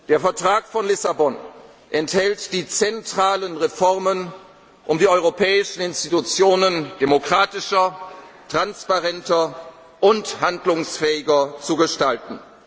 bleiben. Der Vertrag von Lissabon enthält die zentralen Reformen, um die europäischen Institutionen demokratischer, transparenter und handlungsfähiger zu gestalten.